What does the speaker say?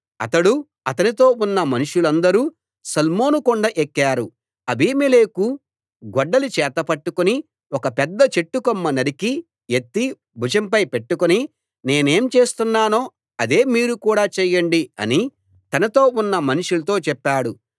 అతడు అతనితో ఉన్న మనుషులందరూ సల్మోను కొండ ఎక్కారు అబీమెలెకు గొడ్డలి చేత పట్టుకుని ఒక పెద్ద చెట్టు కొమ్మ నరికి యెత్తి భుజంపై పెట్టుకుని నేనేం చేస్తున్నానో అదే మీరు కూడా చెయ్యండి అని తనతో ఉన్న మనుషులతో చెప్పాడు